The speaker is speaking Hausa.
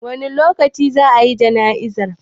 Wani lokaci za a yi jana'izar?